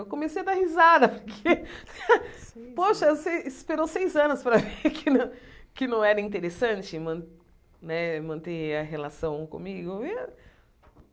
Eu comecei a dar risada, porque, poxa, você esperou seis anos para ver que não era interessante man né manter a relação comigo.